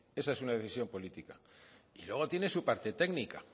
esa es una decisión política y luego tiene su parte técnica